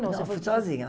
Não, fui sozinha.